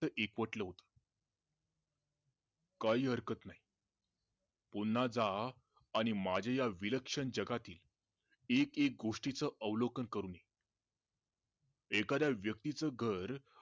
एकवटल होत काही हरकत नाही पुन्हा जा आणि माझ्या या विलक्षण जगातील एक एक गोष्टीच अवलौकन करून ये एखाद्या व्यक्तीचं घर